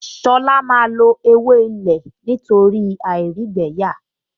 Ṣọlá máa lo ewé ilé nítorí àìrígbẹ̀ẹ́yà